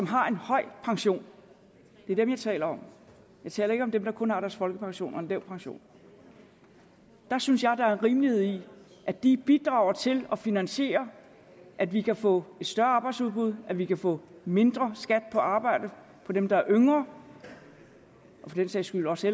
har en høj pension det er dem jeg taler om jeg taler ikke om dem der kun har deres folkepension og en lav pension der synes jeg der er rimelighed i at de bidrager til at finansiere at vi kan få et større arbejdsudbud at vi kan få mindre skat på arbejde for dem der er yngre og for den sags skyld også